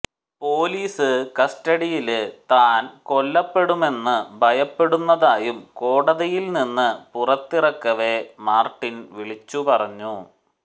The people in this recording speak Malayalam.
പൊലിസ് കസ്റ്റഡിയില് താന് കൊല്ലപ്പെടുമെന്ന് ഭയപ്പെടുന്നതായും കോടതിയില്നിന്ന് പുറത്തിറക്കവേ മാര്ട്ടിന് വിളിച്ചുപറഞ്ഞു